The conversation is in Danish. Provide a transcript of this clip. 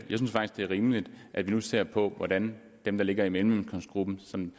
det er rimeligt at vi nu ser på hvordan dem der ligger i mellemindkomstgruppen som